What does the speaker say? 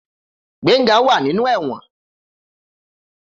Gbenga wa ninu ewon.